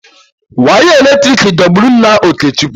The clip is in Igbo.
Wire eletrik dọgburu nna Okechukwu.